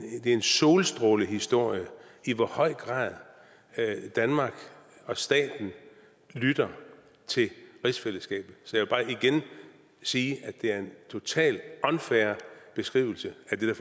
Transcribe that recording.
en solstrålehistorie i hvor høj grad danmark og staten lytter til rigsfællesskabet så jeg vil bare igen sige at det er en totalt unfair beskrivelse af det